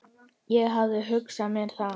Ég hafði hugsað mér það.